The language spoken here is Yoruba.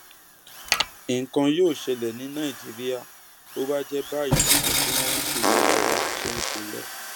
nǹkan yóò ṣẹlẹ ní nàìjíríà bó bá jẹ báyìí làwọn tí wọn ń ṣèjọba wa ṣe ń ṣe é lọ